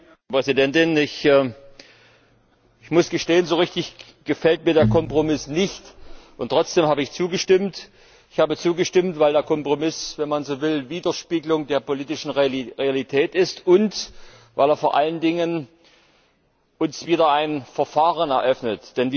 Frau Präsidentin! Ich muss gestehen, so richtig gefällt mir der Kompromiss nicht, trotzdem habe ich zugestimmt. Ich habe zugestimmt, weil der Kompromiss, wenn man so will, Widerspiegelung der politischen Realität ist und weil er vor allen Dingen uns wieder ein Verfahren eröffnet.